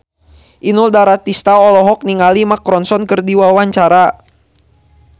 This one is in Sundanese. Inul Daratista olohok ningali Mark Ronson keur diwawancara